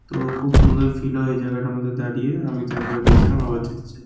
তো খূব সুন্দর ফিল হয় জায়গাটার মধ্যে দাড়িয়ে আমি তো একবার গেছিলাম আবার যাতে চাই।